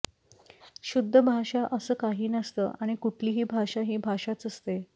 शुद्ध भाषा अस काही नसतं आणि कुठलीही भाषा ही भाषाच असते